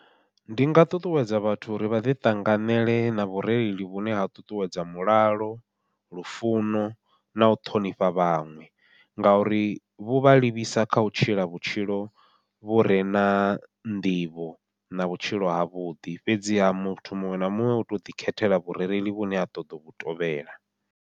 Ndi nga ṱuṱuwedza vhathu uri vha ḓi ṱanganele na vhureili vhune ha ṱuṱuwedza mulalo, lufuno, nau ṱhonifha vhaṋwe. Ngauri vhu vha livhisa kha u tshila vhutshilo vhure na nḓivho, na vhutshilo havhuḓi fhedziha muthu muṅwe na muṅwe u tou ḓi khethela vhurereli vhune a ṱoḓo vhu tovhela.